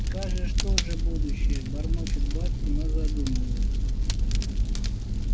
скажешь тоже будущее бормочут бабки но задумываются